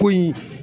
Ko in